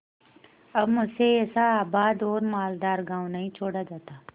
अब मुझसे ऐसा आबाद और मालदार गॉँव नहीं छोड़ा जाता